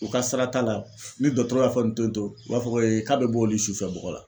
o ka sira t'a la ni dɔtɔrɔ y'a fɔ n to n to u b'a fɔ ko k'a be bɔ olu sufɛ bɔgɔ la